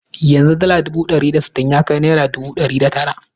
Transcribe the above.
Yanzu dala ɗari biyar da sittin ya kai naira dubu ɗari shida da tara.